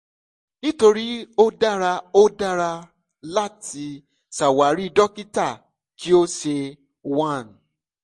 nítorí ó dára ó dara láti ṣawari dókítà kí ó ṣe one